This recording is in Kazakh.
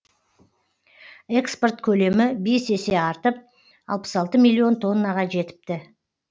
экспорт көлемі бес есе артып алпыс алты миллион тоннаға жетіпті